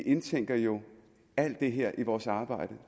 indtænker vi jo alt det her i vores arbejde